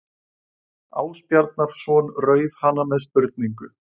Ásbjarnarson rauf hana með spurningu